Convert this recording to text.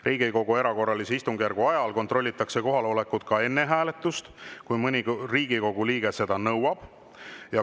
Riigikogu erakorralise istungjärgu ajal kontrollitakse kohalolekut ka enne hääletust, kui mõni Riigikogu liige seda nõuab.